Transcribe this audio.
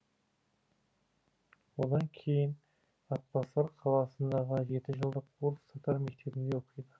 одан кейін атбасар қаласындағы жетіжылдық орыс татар мектебінде оқиды